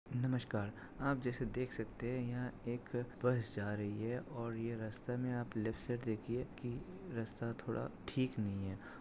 नमस्कार आप जिसे देख सकते है। यहा एक बस जा रही है और ये रस्तेमे आप लेफ्टसाइड देखिये की रास्ता थोड़ा ठीक नहीं है।